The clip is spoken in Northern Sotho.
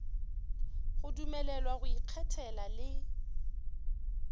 go dumelelwa go ikgethela le